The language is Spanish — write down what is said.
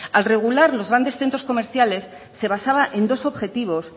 al regular los grandes centros comerciales se basaba en dos objetivos